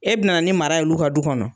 E bina ni mara y'olu ka du kɔnɔ